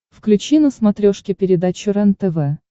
включи на смотрешке передачу рентв